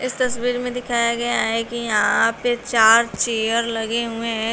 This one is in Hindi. तस्वीर में दिखाया गया है कि यहां पे चार चेयर लगे हुए हैं।